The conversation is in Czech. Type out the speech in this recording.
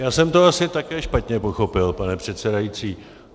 Já jsem to asi také špatně pochopil, pane předsedající.